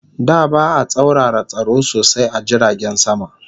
Da ba'a tsaurara tsaro sosai a jiragen sama